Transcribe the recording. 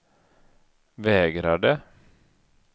vägrade